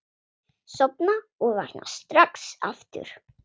Sofna og vakna strax aftur.